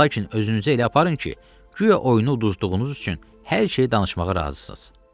Lakin özünüzü elə aparın ki, guya oyunu uduzduğunuz üçün hər şeyi danışmağa razısınız.